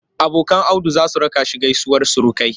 Abokan Audu za su raka shi gaisuwar surukai.